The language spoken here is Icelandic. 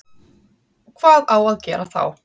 Hvað á að gera þá?